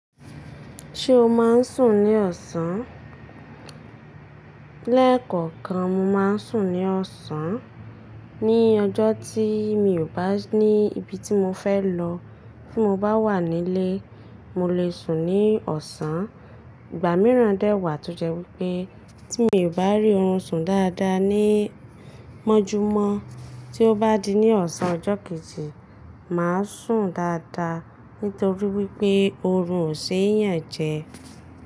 Ṣé o máa ń sùn ní ọ̀sán? Lẹ́ẹ̀kọ̀kan, mo máa ń sùn ní ọ̀sán. Ni ọjọ́ tí mi ò bá ní ibi tí mo fẹ́ lọ, tí mo bá wà nílé, mo lè sùn ní ọ̀sán. Igba miiran de wa to je wipe ti mi o ba ri orun sun daadaa ni mojumo, ti o ba di ni osan ojo keji, maa sun daadaa, nitori wipe oorun o se yan je.